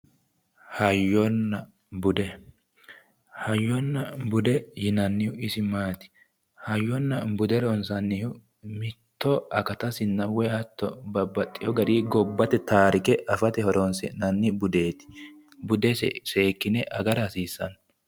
Hayyonna bude. Hayyonna bude yinannihu isi maati? Hayyonna bude ronsannihu mitto akatasinna woyi hatto babbaxewo garinni gobbate taarike afate horonsi'nanni budeeti. Budesi seekkine agara hasiissanno.